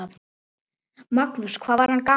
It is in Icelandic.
Magnús: Hvað var hann gamall?